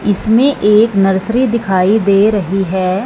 इसमें एक नर्सरी दिखाई दे रही है।